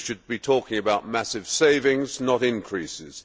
We should be talking about massive savings, not increases.